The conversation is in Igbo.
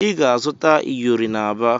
Ị ga-azụta iyori n'Aba